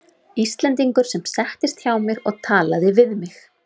Íslendingur sem settist hjá mér og talaði við mig.